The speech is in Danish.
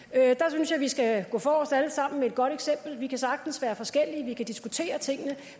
synes jeg vi skal gå forrest alle sammen med et godt eksempel vi kan sagtens være forskellige vi kan diskutere tingene